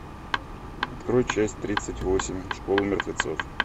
открой часть тридцать восемь школа мертвецов